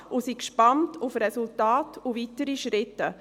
Wir sind gespannt auf die Resultate und weiteren Schritte.